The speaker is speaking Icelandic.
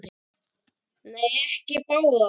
Nei, ekki báðar.